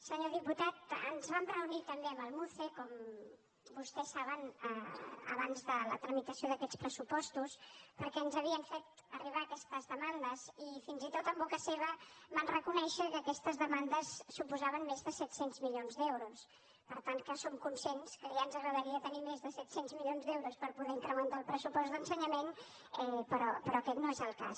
senyor diputat ens vam reunir també amb el muce com vostès saben abans de la tramitació d’aquests pressupostos perquè ens havien fet arribar aquestes demandes i fins i tot en boca seva van reconèixer que aquestes demandes suposaven més de set cents milions d’euros per tant que som conscients que ja ens agradaria tenir més de set cents milions d’euros per poder incrementar el pressupost d’ensenyament però aquest no és el cas